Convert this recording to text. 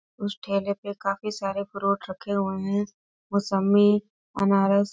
उस ठेले पे काफी सारे फ्रूट रखे हुए हैं मोसम्मी अनारस ।